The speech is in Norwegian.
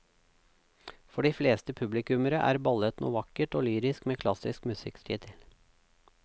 For de fleste publikummere er ballett noe vakkert og lyrisk med klassisk musikk til.